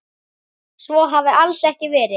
Svo hafi alls ekki verið.